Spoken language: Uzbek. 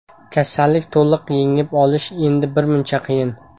Kasallikni to‘liq yengib olish endi birmuncha qiyin.